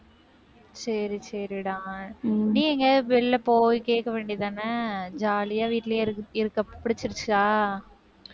சரி, சரிடா நீ எங்கயாவது வெளில போய் கேட்க வேண்டியது தானே? jolly ஆ வீட்லயே இருக்க இருக்க பிடிச்சிருச்சா